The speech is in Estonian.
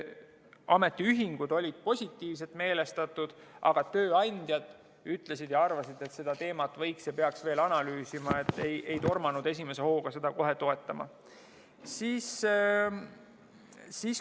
Ametiühingud olid positiivselt meelestatud, aga tööandjad ütlesid ja arvasid, et seda teemat võiks veel analüüsida ja peaks analüüsima, ja ei tormanud esimese hooga kohe seda toetama.